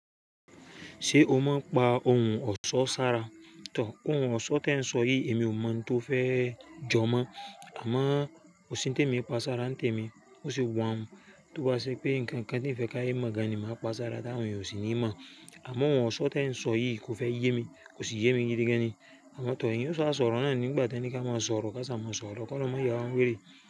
Ṣé o máa ń pa ohùn ọ̀sọ́ sára? Tò, ohùn ọ̀sọ́ tẹ̀ ń sọ yìí èmi ò mọ̀ n tó fẹ́ jọ mọ́. Àmọ́ Kò sí n tèmi e pa sára n tẹ̀ mí, bó se wa n Tó bá ṣe pé ǹnkan kan tí ń fẹ́ káye mọ̀ gan ni màá pa sára tá won eeyan o sì níì mọ̀. Àmọ́ ohùn ọ̀sọ́ tẹ̀ ń sọ yìí kò fẹ́ yé mi, kò sì yé mi gidi gan ni. Àmọ́ tò, ẹ̀eyan ò sa sọ̀rọ̀ náà ní nigbà tẹ̀ ni ka máa sọ̀rọ̀. Ká sa máa sọ̀rọ̀, ló ki Olorun mà ya wa n wèrè.